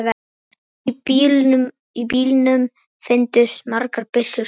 Í bílnum fundust margar byssur.